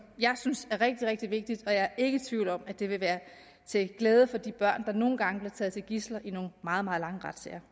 jeg synes er rigtig rigtig vigtigt og jeg er ikke i tvivl om at det vil være til glæde for de børn der nogle gange bliver taget som gidsler i nogle meget meget lange retssager